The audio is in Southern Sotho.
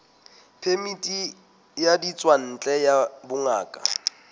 phemiti ya ditswantle ya bongaka